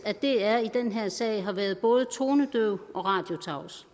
at dr i den her sag har været både tonedøv og radiotavs